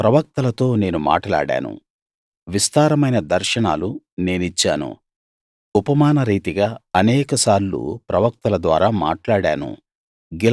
ప్రవక్తలతో నేను మాటలాడాను విస్తారమైన దర్శనాలు నేనిచ్చాను ఉపమానరీతిగా అనేకసార్లు ప్రవక్తల ద్వారా మాట్లాడాను